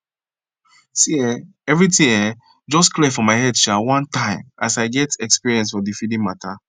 see eh everything um just clear for my head um one time as i get experience for the feeding matter